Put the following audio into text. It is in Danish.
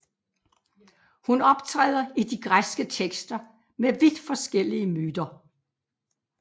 Hun optræder i de græske tekster med vidt forskellige myter